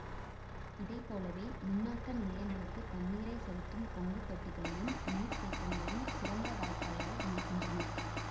இதை போலவே மின்னாக்க நிலையங்களுக்குத் தண்ணீரைச் செலுத்தும் பொங்கு தொட்டிகளையும் நீர் தேக்கங்களையும் சுரங்க வாய்க்கால்களே இணைக்கின்றன